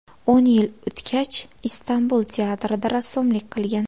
O‘n yil o‘tgach, Istanbul teatrida rassomlik qilgan.